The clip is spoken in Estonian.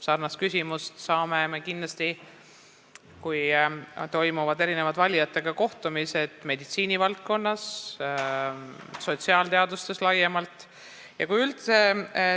Sarnast küsimust esitatakse kindlasti meditsiinivaldkonna, aga ka sotsiaalteaduste kohta laiemalt, kui toimuvad kohtumised valijatega.